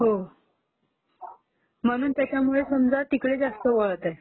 हो.....म्हणून त्याच्यामुळे समजा तिकडे जास्त वळंत आहेत